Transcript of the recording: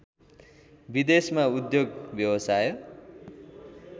विदेशमा उद्योग व्यवसाय